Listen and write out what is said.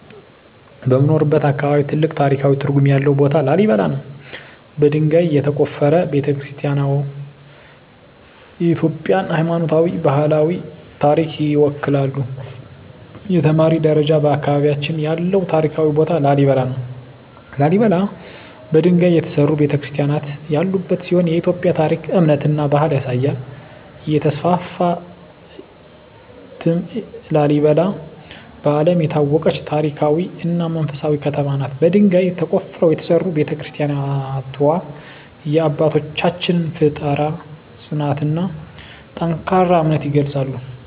በምኖርበት አካባቢ ትልቅ ታሪካዊ ትርጉም ያለው ቦታ ላሊበላ ነው። በድንጋይ የተቆፈሩ ቤተ-ክርስቲያናትዋ የኢትዮጵያን ሃይማኖታዊና ባህላዊ ታሪክ ይወክላሉ። 2) የተማሪ ደረጃ በአካባቢያችን ያለው ታሪካዊ ቦታ ላሊበላ ነው። ላሊበላ በድንጋይ የተሠሩ ቤተ-ክርስቲያናት ያሉበት ሲሆን የኢትዮጵያን ታሪክ፣ እምነትና ባህል ያሳያል። 3) የተስፋፋ እትም ላሊበላ በዓለም የታወቀች ታሪካዊ እና መንፈሳዊ ከተማ ናት። በድንጋይ ተቆፍረው የተሠሩ ቤተ-ክርስቲያናትዋ የአባቶቻችንን ፍጠራ፣ ጽናትና ጠንካራ እምነት ይገልጻሉ።